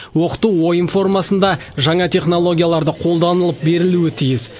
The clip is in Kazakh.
оқыту ойын формасында жаңа технологияларды қолданып берілуі тиіс